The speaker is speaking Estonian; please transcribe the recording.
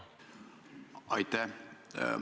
Aitäh!